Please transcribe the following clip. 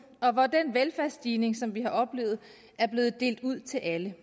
og hvor den velfærdsstigning som vi har oplevet er blevet delt ud til alle